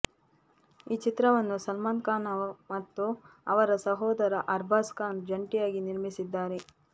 ಈ ಚಿತ್ರವನ್ನು ಸಲ್ಮಾನ್ ಖಾನ್ ಮತ್ತು ಅವರ ಸಹೋದರ ಅರ್ಬಾಜ್ ಖಾನ್ ಜಂಟಿಯಾಗಿ ನಿರ್ಮಿಸಿದ್ದಾರೆ